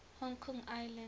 hong kong island